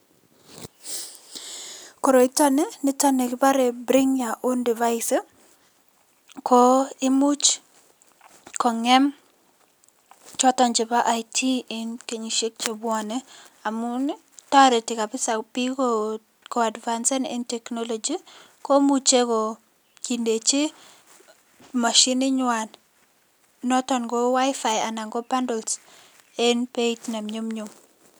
Koroiton nii niton nikibore bring your own device ko imuch kong'em choton chebo IT en kenyishek chebwone amun toreti kabisaa biik ko advansen en technology komuche kindechi mashininywan noton ko WiFi anan ko bundles en beit ne nyumnyum.